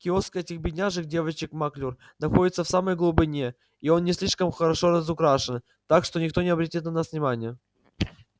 киоск этих бедняжек девочек маклюр находится в самой глубине и он не слишком хорошо разукрашен так что никто и не обратит на вас внимания